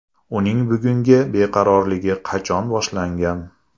Uning bugungi beqarorligi qachon boshlangan?